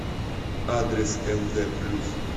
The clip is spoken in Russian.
адрес мд плюс